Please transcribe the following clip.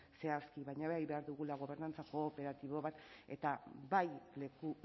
zehazki baina bai behar dugula gobernantza kooperatibo bat eta bai leku